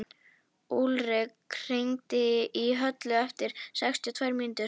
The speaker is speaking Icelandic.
Úlrik, hringdu í Höllu eftir sextíu og tvær mínútur.